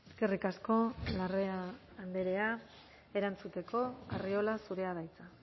eskerrik asko larrea andrea erantzuteko arriola zurea da hitza